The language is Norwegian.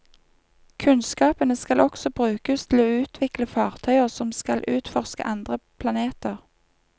Kunnskapene skal også brukes til å utvikle fartøyer som skal utforske andre planeter.